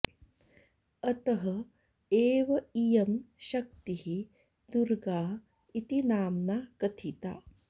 अतः एव इयं शक्तिः दुर्गा इति नाम्ना कथिता